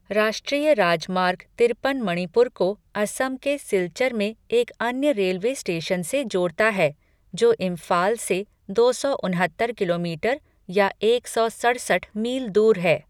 राष्ट्रीय राजमार्ग तिरपन मणिपुर को असम के सिल्चर में एक अन्य रेलवे स्टेशन से जोड़ता है, जो इम्फाल से दो सौ उनहत्तर किलोमीटर या एक सौ सड़सठ मील दूर है।